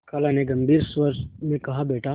खाला ने गम्भीर स्वर में कहाबेटा